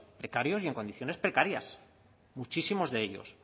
precarios y en condiciones precarias muchísimos de ellos